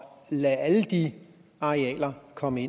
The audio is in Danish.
lader alle de arealer komme